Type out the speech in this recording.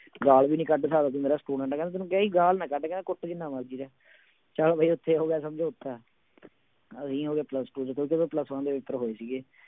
ਗਾਲ ਵੀ ਨੀ ਕੱਢ ਸਕਦੇ ਮੇਰਾ student ਕਹਿੰਦਾ ਤੈਨੂੰ ਕਿਹਾ ਸੀ ਗਾਲ ਨਾ ਕੱਢ ਕਹਿੰਦਾ ਕੁੱਟ ਜਿੰਨਾ ਮਰਜ਼ੀ ਲੈ, ਚੱਲ ਵੀ ਉੱਥੇ ਹੋ ਗਿਆ ਸਮਝੋਤਾ ਅਸੀਂ ਹੋ ਗਏ plus-two ਚ ਕਿਉਂਕਿ ਉਦੋਂ plus-one ਦੇ ਪੇਪਰ ਹੋਏ ਸੀਗੇ।